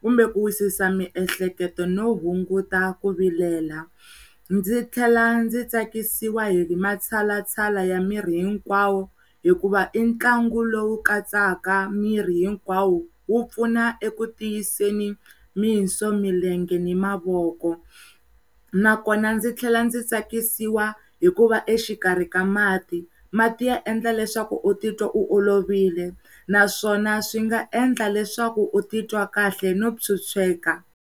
kumbe ku wisisa miehleketo no hunguta ku vilela. Ndzi tlhela ndzi tsakisiwahi matshalatshala ya miri hinkwawo hikuva i ntlangu lowu katsaka miri hinkwawo. Wu pfuna eku ntiyiseni, tinso, milenge ni mavoko ndzi tlhela ndzi tsakisiwa hikuva exikarhi ka mati, mati ya endla leswaku u titwa olovile naswona swi nga endla leswaku u titwa kahle no phyuphyeka.